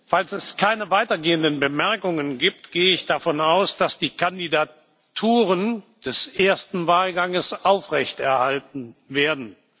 Falls es keine weitergehenden Bemerkungen gibt, gehe ich davon aus, dass die Kandidaturen des ersten Wahlganges aufrechterhalten werden.